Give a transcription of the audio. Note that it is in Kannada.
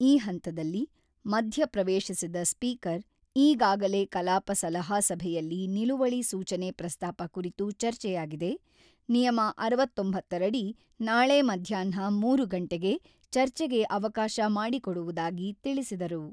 ಈ ಹಂತದಲ್ಲಿ ಮಧ್ಯ ಪ್ರವೇಶಿಸಿದ ಸ್ಪೀಕರ್, ಈಗಾಗಲೇ ಕಲಾಪ ಸಲಹಾ ಸಭೆಯಲ್ಲಿ ನಿಲುವಳಿ ಸೂಚನೆ ಪ್ರಸ್ತಾಪ ಕುರಿತು ಚರ್ಚೆಯಾಗಿದೆ, ನಿಯಮ ಅರವತ್ತೊಂಬತ್ತ ರಡಿ ನಾಳೆ ಮಧ್ಯಾಹ್ನ ಮೂರು ಗಂಟೆಗೆ ಚರ್ಚೆಗೆ ಅವಕಾಶ ಮಾಡಿಕೊಡುವುದಾಗಿ ತಿಳಿಸಿದರು.